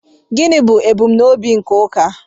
gịnị bụ ebumnobi nke ụka